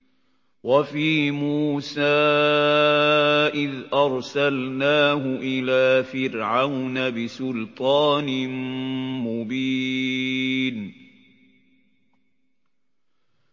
وَفِي مُوسَىٰ إِذْ أَرْسَلْنَاهُ إِلَىٰ فِرْعَوْنَ بِسُلْطَانٍ مُّبِينٍ